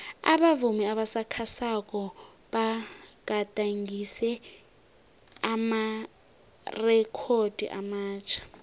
abavumi abasakhasako bagadangise amarekhodo amatjha